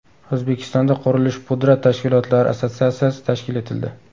O‘zbekistonda qurilish-pudrat tashkilotlari assotsiatsiyasi tashkil etildi.